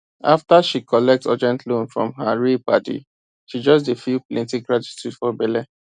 after she collect urgent loan from her real padi she just dey feel plenty gratitude for belle